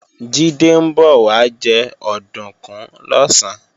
Jídé ń bọ̀ wá jẹ òdùnkún lọ̀sán